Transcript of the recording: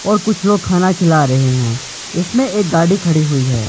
और कुछ लोग खाना खिला रहें हैं इसमें एक गाड़ी खड़ी हुई है।